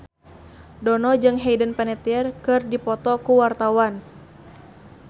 Dono jeung Hayden Panettiere keur dipoto ku wartawan